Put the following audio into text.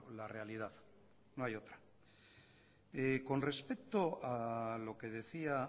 la realidad no hay otra con respecto a lo que decía